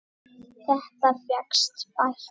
Þetta fékkst bætt.